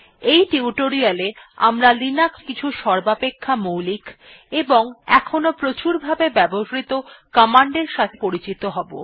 এই টিউটোরিয়ালটি তে আমরা লিনাক্সে এর কিছু সর্বাপেক্ষা মৌলিক ও এখনও প্রচুরভাবে ব্যবহৃত র্নিদেশাবলীর সঙ্গে পরিচিত হব